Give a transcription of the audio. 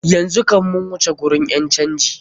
Yanzu kam mu wuce gurin ƴan canji.